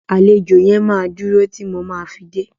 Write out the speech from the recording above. Àlejò yẹn máa dúro tí mo ma fi dé.